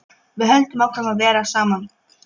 Við höldum áfram að vera saman.